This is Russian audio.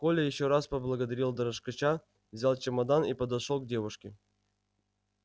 коля ещё раз поблагодарил дрожкача взял чемодан и подошёл к девушке